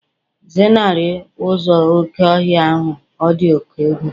Zenarị ụzọ oké ọhịa ahụ, ọ dị oke egwu